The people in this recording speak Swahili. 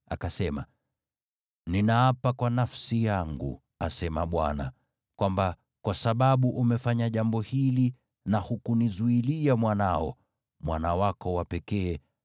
akasema, “Ninaapa kwa nafsi yangu, asema Bwana , kwamba kwa sababu umefanya jambo hili na hukunizuilia mwanao, mwana wako wa pekee,